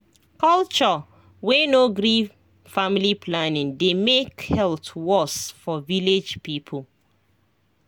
culture wey no gree family planning dey make health worse for village people